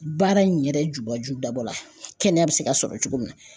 Baara in yɛrɛ jubaju dabɔ la kɛnɛya be se ka sɔrɔ cogo min na